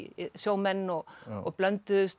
sjómenn og og blönduðust